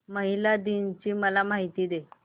महिला दिन ची मला माहिती दे